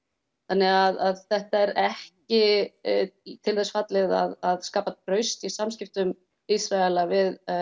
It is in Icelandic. þannig að þetta er ekki til þess fallið að skapa traust í samskiptum Ísraela við